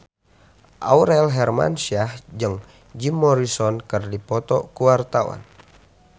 Aurel Hermansyah jeung Jim Morrison keur dipoto ku wartawan